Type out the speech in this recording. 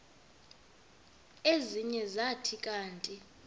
ezinye zathi kanti